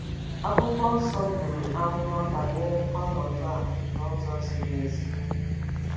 Akwụkwọ Nsọ buru amụma banyere ọnọdụ a n'ụzọ ziri ezi.